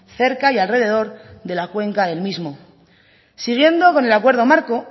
cerca y alrededor de la cuenca del mismo siguiendo con el acuerdo marco